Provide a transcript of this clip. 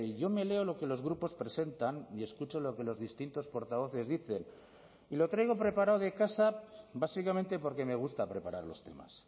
yo me leo lo que los grupos presentan y escucho lo que los distintos portavoces dicen y lo traigo preparado de casa básicamente porque me gusta preparar los temas